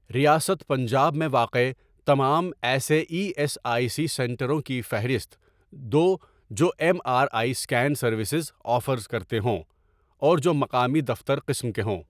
ریاست پنجاب میں واقع تمام ایسے ای ایس آئی سی سنٹروں کی فہرست دو جو M R I scan services offer کرتے ہوں اور جو مقامی دفتر قسم کے ہوں۔